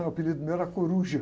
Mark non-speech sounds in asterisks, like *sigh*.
O apelido meu era. *unintelligible*